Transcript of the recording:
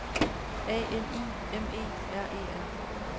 A N I M E R E R